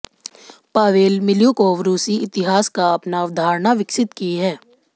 Pavel Milyukov रूसी इतिहास का अपना अवधारणा विकसित की है